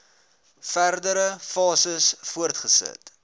verdere fases voortgesit